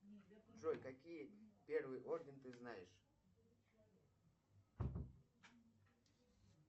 джой какие первый орден ты знаешь